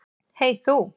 Hey þú.